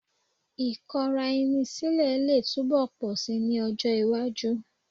Ì̀kọra-ẹni sílẹ̀ lè túbọ̀ pọ̀ síi ní ọjọ́ iwájú